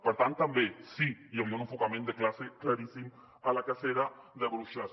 per tant també sí hi havia un enfocament de classe claríssim a la cacera de bruixes